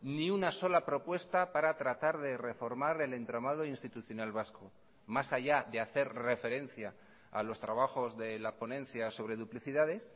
ni una sola propuesta para tratar de reformar el entramado institucional vasco más allá de hacer referencia a los trabajos de la ponencia sobre duplicidades